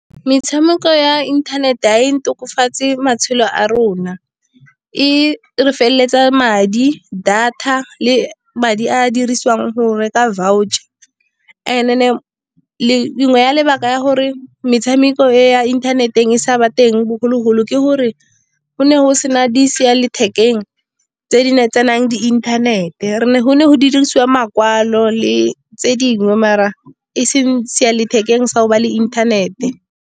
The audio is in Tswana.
Metshameko ya internet-e ga e tokafatse matshelo a rona. E re feletsa madi, data le madi a dirisiwang go reka voucher. And then nngwe ya lebaka la gore metshameko ya inthaneteng e sa ba teng bogologolo, ke gore go ne go sena tse di di inthanete. Go ne go dirisiwa makwalo le tse dingwe, mara a e seng sa go nna le inthanete.